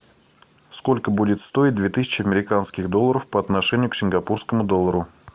сколько будет стоить две тысячи американских долларов по отношению к сингапурскому доллару